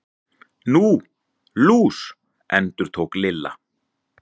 Nú, lús. endurtók Lilla.